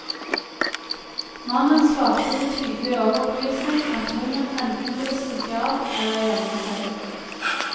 Mannen svarte med tydelig overbevisning at hunden enten ville stikke av eller gjemme seg.